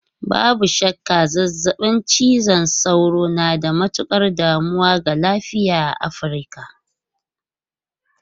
Babu shakka, zazzabin cizon sauro na da matukar damuwa ga lafiya a Afirka.